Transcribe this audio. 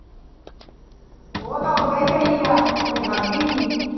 ਉਹ ਤਾਂ ਉੱਦਾਂ ਈ ਪਈ ਆ ਉਹਨੇ ਖਾਧੀ ਈ ਨੀ